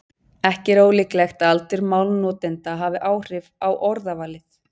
Ekki er ólíklegt að aldur málnotenda hafi áhrif á orðavalið.